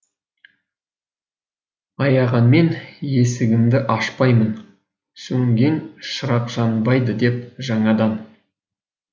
аяғанмен есігімді ашпаймын сөнген шырақ жанбайды деп жаңадан